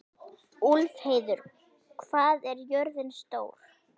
Úlfheiður, hvað er jörðin stór?